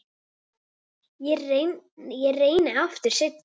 Ég reyni aftur seinna